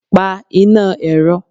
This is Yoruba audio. pa iná erò!